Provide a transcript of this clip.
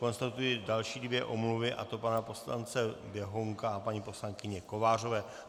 Konstatuji další dvě omluvy, a to pana poslance Běhounka a paní poslankyně Kovářové.